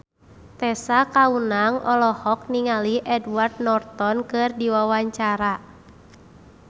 Tessa Kaunang olohok ningali Edward Norton keur diwawancara